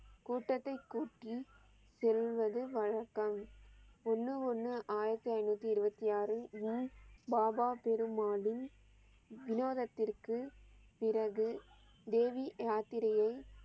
கூட்டத்தை கூட்டி செல்வது வழக்கம் ஒன்னு ஒன்னு ஆயிரத்தி ஐநூத்தி இருவத்தி ஆறு ஈ பாபா பெருமாளின் விநோதத்திற்கு பிறகு தேவி யாத்திரையை